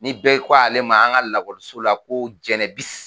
Ni bɛɛ ko ale ma an ka lakɔliso la ko Jɛnɛbisi.